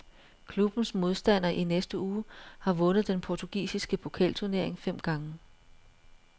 Klubbens modstander i næste uge har vundet den portugisiske pokalturnering fem gange.